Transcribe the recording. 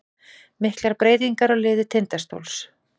Miklar breytingar á liði Tindastóls